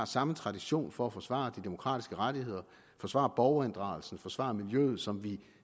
samme tradition for at forsvare de demokratiske rettigheder at forsvare borgerinddragelsen forsvare miljøet som vi